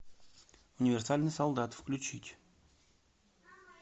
универсальный солдат включить